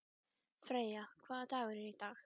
Freyja, hvaða dagur er í dag?